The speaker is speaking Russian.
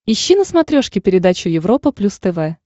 ищи на смотрешке передачу европа плюс тв